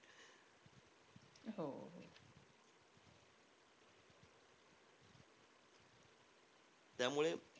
त्यामुळे,